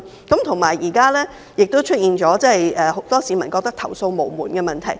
再者，現時亦出現了很多市民認為投訴無門的問題。